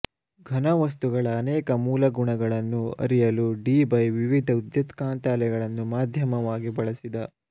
ಘನವಸ್ತುಗಳ ಅನೇಕ ಮೂಲಗುಣಗಳನ್ನು ಅರಿಯಲು ಡೀಬೈ ವಿವಿಧ ವಿದ್ಯುತ್ಕಾಂತ ಅಲೆಗಳನ್ನು ಮಾಧ್ಯಮವಾಗಿ ಬಳಸಿದ